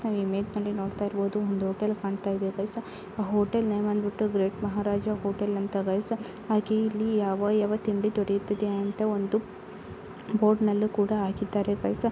ಈ ಇಮೇಜ್ನಲ್ಲಿ ನೋಡ್ತಇರಬಹುದು ಒಂದು ಹೋಟೆಲ್ ಕಾಣ್ತಾ ಇದೆ ಫ್ರೆಂಡ್ಸ್ ಆ ಹೋಟೆಲ್ ನೇಮ್ ಬಂದ್ಬಿಟ್ಟು ಗ್ರೇಟ್ ಮಹಾರಾಜ ಹೋಟೆಲ್ ಅಂತ ಗೈಸ ಬಿ ಹಾಗೆ ಇಲ್ಲಿ ಯಾವ ಯಾವ ತಿಂಡಿ ದೊರೆಯುತ್ತದೆ ಅಂತ ಒಂದು ಬೋರ್ಡ್ ನಲ್ಲಿ ಹಾಕಿದ್ದಾರೆ ಗೈಸ .